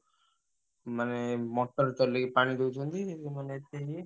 ମାନେ motor ଚଲେଇ ପାଣି ଦଉଛନ୍ତି ମାନେ ଏତେ ଇଏ।